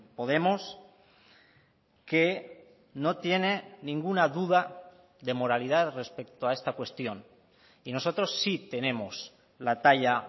podemos que no tiene ninguna duda de moralidad respecto a esta cuestión y nosotros sí tenemos la talla